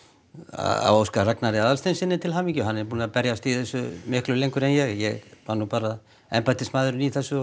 að óska Ragnari Aðalsteinssyni til hamingju hann er búinn að berjast í þessu miklu lengur en ég ég var nú bara embættismaðurinn í þessu